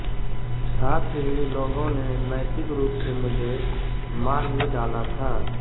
साथ ही लोगों ने नैतिक रूप से मुझे मार ही डाला था